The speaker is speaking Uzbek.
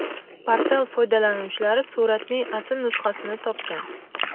Portal foydalanuvchilari suratning asl nusxasini topgan.